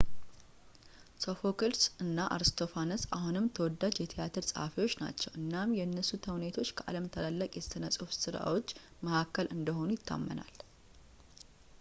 ሶፎክልስ እና አርስቶፋነስ አሁንም ተወዳጅ የትያትር ጸሃፊዎች ናቸው እናም የእነሱ ተውኔቶች ከዓለም ታላላቅ የሥነ-ጽሑፍ ሥራዎች መካከል እንደሆኑ ይታመናል